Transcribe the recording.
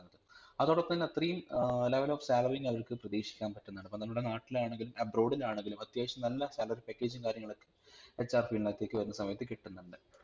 അതോടൊപ്പം തന്നെ അത്രയും ഏർ level of salary യും അവർക് പ്രതീഷിക്കാൻ പറ്റുന്നുണ്ടിപ്പം നമ്മളെ നാട്ടിലാന്നെങ്കിലും abroad ലാണെങ്കിലും അത്യാവിശം നല്ല salary package ഉം കാര്യങ്ങളൊക്കെ hrfield നകത്തേക് വരുന്ന സമയത്തുകിട്ടുന്നുണ്ട്